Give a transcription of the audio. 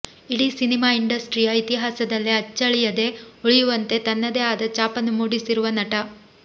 ಇಡೀ ಸಿನಿಮಾ ಇಂಡಸ್ಟ್ರಿಯ ಇತಿಹಾಸದಲ್ಲೇ ಅಚ್ಚಳಿಯದೆ ಉಳಿಯುವಂತೆ ತನ್ನದೇ ಆದ ಛಾಪನ್ನು ಮೂಡಿಸಿರುವ ನಟ